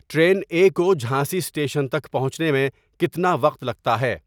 train A کو Jhansi station تک پہنچنے میں کتنا وقت لگتا ہے